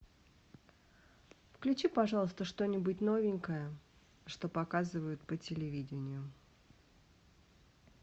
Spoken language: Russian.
включи пожалуйста что нибудь новенькое что показывают по телевидению